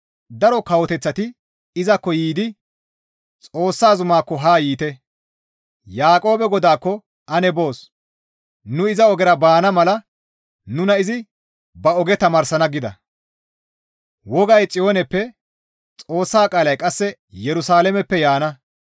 Daro kawoteththati izakko yiidi, «Xoossa zumaakko haa yiite; Yaaqoobe Godaakko ane boos; nu iza ogera baana mala nuna izi ba oge tamaarsana» gida; wogay Xiyooneppe, Xoossa qaalay qasse Yerusalaameppe yaana.